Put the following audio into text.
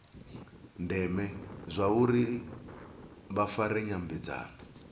ndeme zwauri vha fare nyambedzano